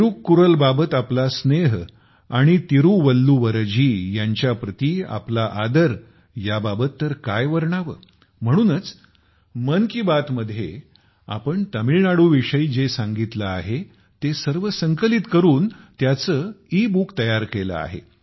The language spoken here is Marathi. तिरुक्कुरल बाबत आपला स्नेह आणि तिरुवल्लुवर जी यांच्या प्रती आपला आदर याबाबत तर काय वर्णावे म्हणूनच मन की बात मध्ये आपण तामिळनाडूविषयी जे सांगितले आहे ते सर्व संकलित करून त्याचे ई बुक तयार केले आहे